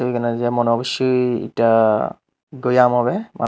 এখানে যে মানে অব্যশই এটা আম হবে মা--